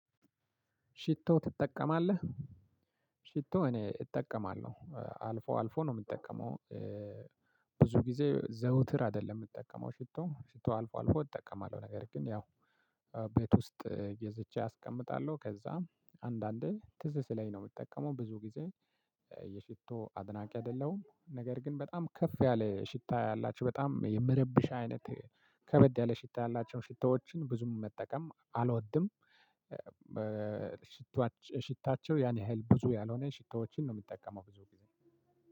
ሽቶ ትጠቀማለህ ሽቶ እኔ እጠቀማለሁ አልፎ አልፎ ነው የምጠቀመው። ብዙ ጊዜ ዘውትር አይደለም የምጠቀመው ሽቶ ሽቶ አልፎ አልፎ እጠቀማለሁ ነገር ግን ያው ቤት ውስጥ ገዝቼ አስቀምጣለሁ። ከዛም አንዳንዴ ትዝ ስለኝ ነው የምጠቀመው ብዙ ጊዜ የሽቶ አድናቂ አይደለሁም። ነገር ግን በጣም ከፍ ያለ ሽታ ያላቸው በጣም የምረብሽ አይነት ከበድ ያለ ሽታ ያላቸውን ሽታዎችን ብዙም መጠቀም አልወድም። ሽታቸው ያን ያህል ብዙ ያልሆነ ሽቶዎችን ነው ምጠቀመው።